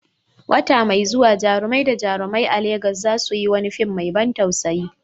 Wata mai zuwa, jarumai da jarumai a Legas za su yi wani fim mai ban tausayi